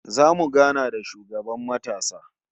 Zamu gana da shugaban matasa